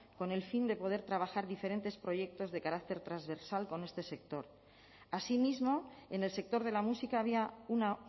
con el fin de poder trabajar diferentes proyectos de carácter transversal con este sector así mismo en el sector de la música había una